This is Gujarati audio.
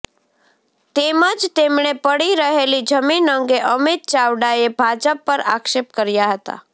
તેમજ તેમણે પડી રહેલી જમીન અંગે અમિત ચાવડાએ ભાજપ પર આક્ષેપ કર્યા હતાં